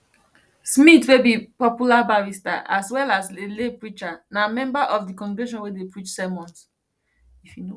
smyth wey be popular barrister as well as a lay preacher na member of di congregation wey dey preach sermons